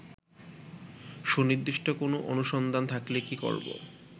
সুনির্দিষ্ট কোন অনুসন্ধান থাকলে কি করবো